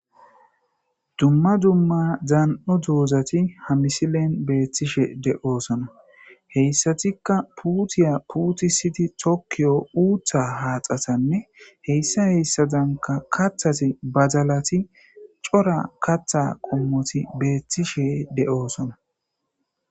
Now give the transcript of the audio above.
Dumma dumma zaan'o duozati hamisilen beethtishe de'osona heyssatikka puutiya puutisidi tokkiyo uutha haaxatanne heyssa heyssadanka kathasi bazalati cora katha qommoti beethtishe de'osona